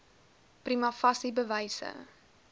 prima facie bewyse